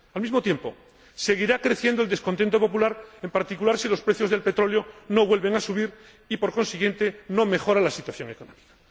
Al mismo tiempo, seguirá creciendo el descontento popular, en particular si los precios del petróleo no vuelven a subir y, por consiguiente, no mejora la situación económica.